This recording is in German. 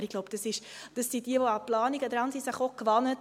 Aber ich glaube, wer an Planungen dran ist, ist sich dies gewöhnt.